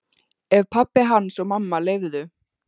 Ef pabbi hans og mamma leyfðu.